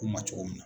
K'u ma cogo min na